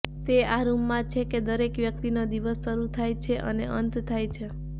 તે આ રૂમમાં છે કે દરેક વ્યક્તિનો દિવસ શરૂ થાય છે અને અંત થાય છે